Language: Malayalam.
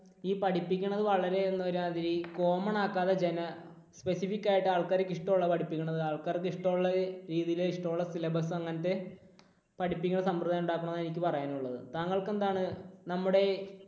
ഈ പഠിപ്പിക്കുന്നത് വളരെ ഒരുമാതിരി common ആക്കാതെ ജന specific ആയിട്ട് ആൾക്കാർ ഇഷ്ടമുള്ളത് പഠിപ്പിക്കണം. ആൾക്കാർക്ക് ഇഷ്ടമുള്ള രീതിയിൽ ഇഷ്ടമുള്ള syllabus അങ്ങനത്തെ പഠിപ്പിക്കുന്ന സമ്പ്രദായം ഉണ്ടാക്കണം എന്നാണ് എനിക്ക് പറയാനുള്ളത് താങ്കൾക്ക് എന്താണ് നമ്മുടെ